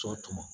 Sɔ tumu